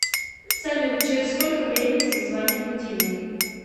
салют через сколько времени зазвонит будильник